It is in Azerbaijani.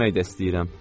Gəzmək də istəyirəm.